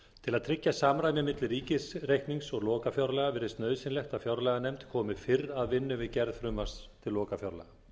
til að tryggja samræmi milli ríkisreiknings og lokafjárlaga virðist nauðsynlegt að fjárlaganefnd komi fyrr að vinnu við gerð frumvarps til lokafjárlaga